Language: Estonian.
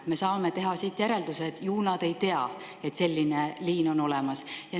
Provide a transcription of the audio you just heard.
Me saame siit teha järelduse, et ju nad ei tea, et selline liin on olemas.